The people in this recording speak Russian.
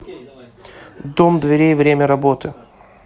дом дверей время работы